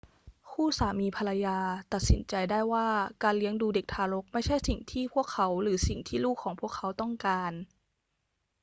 คู่สามีภรรยาตัดสินใจได้ว่าการเลี้ยงดูเด็กทารกไม่ใช่สิ่งที่พวกเขาหรือสิ่งที่ลูกของพวกเขาต้องการ